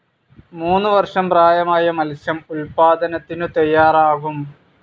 മൂന്നു വർഷം പ്രായമായ മത്സ്യം ഉത്പാതനത്തിനു തയ്യാറാകും.